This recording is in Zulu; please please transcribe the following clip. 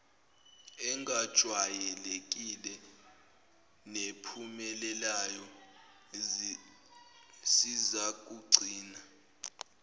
engajwayelekile nephumelelayo sizakugcina